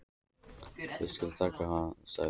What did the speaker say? Ég skal taka hann sagði Örn.